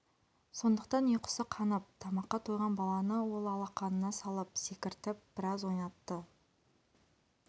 сондықтан ұйқысы қанып тамаққа тойған баланы ол алақанына салып секіртіп біраз ойнатты